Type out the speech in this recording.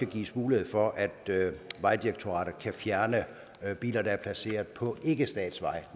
gives mulighed for at vejdirektoratet kan fjerne biler der er placeret på ikkestatsveje